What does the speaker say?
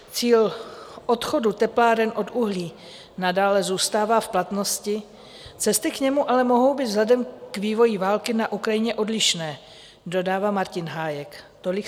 Cíl odchodu tepláren od uhlí nadále zůstává v platnosti, cesty k němu ale mohou být vzhledem k vývoji války na Ukrajině odlišné, dodává Martin Hájek.